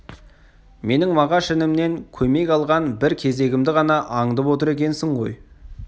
менің мағаш інімнен көмек алған бір кезегімді ғана аңдып отыр екенсің ғой